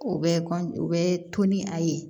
O bɛ o bɛ to ni a ye